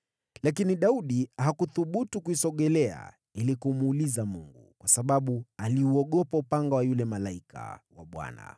Lakini Daudi hakuthubutu kuisogelea ili kumuuliza Mungu, kwa sababu aliuogopa upanga wa yule malaika wa Bwana .